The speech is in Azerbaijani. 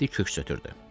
Mehdi köks ötürdü.